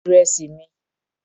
Edé ni mo fi sínú ìrẹsì mi.